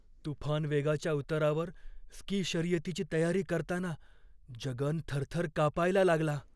तुफान वेगाच्या उतारावर स्की शर्यतीची तयारी करताना जगन थरथर कापायला लागला.